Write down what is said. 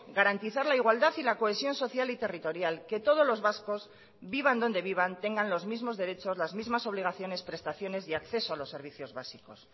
garantizar la igualdad y la cohesión social y territorial que todos los vascos vivan donde vivan tengan los mismos derechos las mismas obligaciones prestaciones y acceso a los servicios básicos